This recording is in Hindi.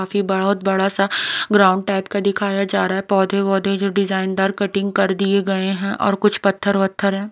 काफी बहुत बड़ा सा ग्राउंड टाइप का दिखाया जा रहा है पौधे-वौधे जो डिजाइनदार कटिंग कर दिए गए हैं और कुछ पत्थर-वत्थर हैं।